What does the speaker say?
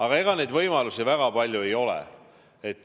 Aga ega neid võimalusi väga palju ei ole.